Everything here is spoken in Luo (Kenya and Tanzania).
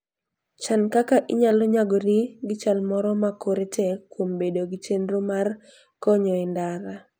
Chan kaka inyalo nyagori gi chal moro ma kore tek kuom bedo gi chenro mar konyo e ndara.